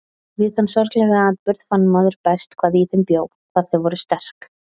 Við þann sorglega atburð fann maður best hvað í þeim bjó, hvað þau voru sterk.